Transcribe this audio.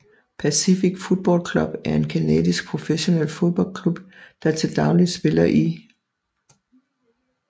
Pacific Football Club er en canadisk professionel fodboldklub der til dagligt spiller i